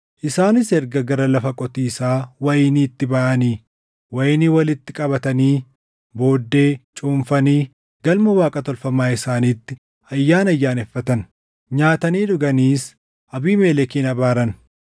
Isaanis erga gara lafa qotiisaa wayiniitti baʼanii wayinii walitti qabatanii booddee cuunfanii galma waaqa tolfamaa isaaniitti ayyaana ayyaaneffatan. Nyaatanii dhuganiis Abiimelekin abaaran.